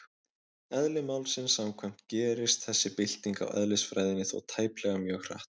Eðli málsins samkvæmt gerist þessi bylting á eðlisfræðinni þó tæplega mjög hratt.